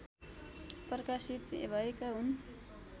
प्रकाशित भएका हुन्